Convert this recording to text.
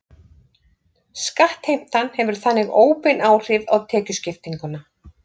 Skattheimtan hefur þannig óbein áhrif á tekjuskiptinguna.